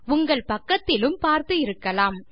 உங்கள் பக்கத்திலும் பார்த்து இருக்கலாம்